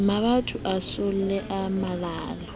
mabotho a masole a malala